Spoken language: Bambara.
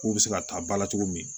K'u bɛ se ka taa ba la cogo min